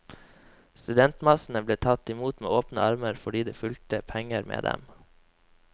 Studentmassene ble tatt imot med åpne armer fordi det fulgte penger med dem.